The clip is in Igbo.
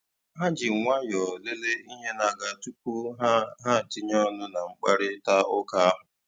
Ha ji nwayọọ lele ihe na-aga tupu ha ha tinye ọnụ na mkparitauka ahụ.